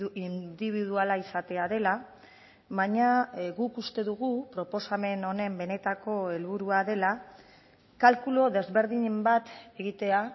indibiduala izatea dela baina guk uste dugu proposamen honen benetako helburua dela kalkulu desberdin bat egitea